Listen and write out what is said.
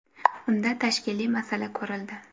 Unda tashkiliy masala ko‘rildi.